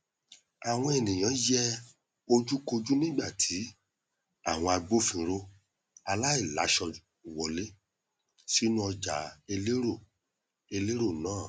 àwọn ènìyàn yẹ ojúkojú nígbà tí àwọn agbófinró aláìláṣọ wọlé sínú ọjà elérò elérò náà